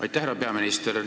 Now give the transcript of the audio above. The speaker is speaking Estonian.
Aitäh, härra peaminister!